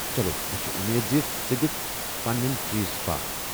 چلو ، مےٚ چھےٚ امید زِ ژٕ دِکھےٚ پنٕنٮ۪ن چیز پاہ ۔